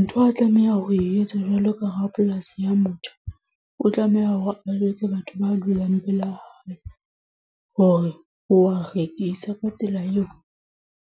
Ntho a tlameha ho etsa jwalo ka ha polasi ya motho. O tlameha hore a jwetse batho ba dulang pela hae, hore wa rekisa. Ka tsela eo,